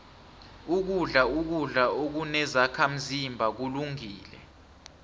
ukudla ukudla okunezakhazimba kulungile